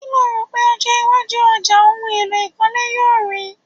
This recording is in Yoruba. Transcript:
Kí lo rò pé ọjọ́ iwájú ọjà ohun èlò ìkólé yóò rì í?